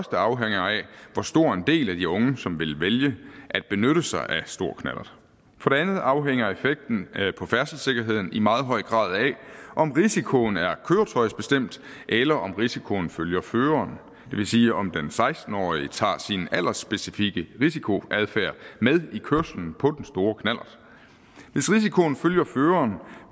afhænger af hvor stor en del af de unge som vil vælge at benytte sig af stor knallert for det andet afhænger effekten på færdselssikkerheden i meget høj grad af om risikoen er køretøjsbestemt eller om risikoen følger føreren det vil sige om den seksten årige tager sin alderspecifikke risikoadfærd med i kørselen på den store knallert hvis risikoen følger føreren